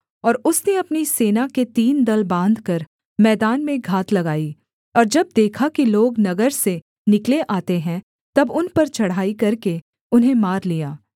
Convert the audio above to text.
और उसने अपनी सेना के तीन दल बाँधकर मैदान में घात लगाई और जब देखा कि लोग नगर से निकले आते हैं तब उन पर चढ़ाई करके उन्हें मार लिया